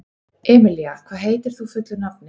Emelía, hvað heitir þú fullu nafni?